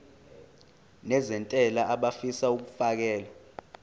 nezentela abafisa uukfakela